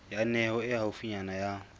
ya heno e haufinyana ya